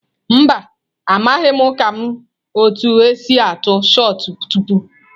Mba, amaghim ka m otu esi atụ shọt pụtụ.